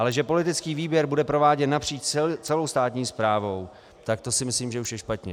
Ale že politický výběr bude prováděn napříč celou státní správou, tak to si myslím, že už je špatně.